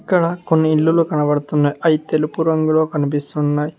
ఇక్కడ కొన్ని ఇల్లులు కనబడుతున్నాయి అయి తెలుపు రంగులో కనిపిస్తున్నాయి.